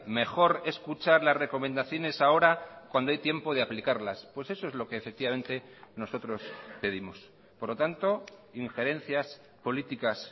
mejor escuchar las recomendaciones ahora cuando hay tiempo de aplicarlas pues eso es lo que efectivamente nosotros pedimos por lo tanto injerencias políticas